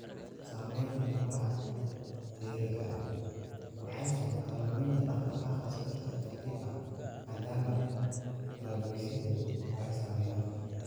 Sameynta lafaha dheeriga ah waxay sababtaa luminta dhaqdhaqaaqa si tartiib tartiib ah maadaama kala-goysyadu ay saameeyaan.